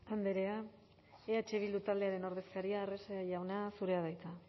andrea eh bildu taldearen ordezkaria arrese jauna zurea da hitza